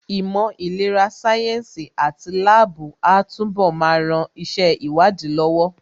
Ìmọ̀ ìlera sáyẹ́ǹsì àti láàbù á túnbọ̀ máa ran iṣẹ́ ìwádìí lọ́wọ́